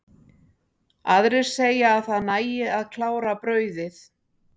Aðrir segja að það nægi að klára brauðið.